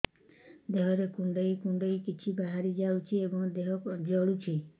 ଦେହରେ କୁଣ୍ଡେଇ କୁଣ୍ଡେଇ କିଛି ବାହାରି ଯାଉଛି ଏବଂ ଦେହ ଜଳୁଛି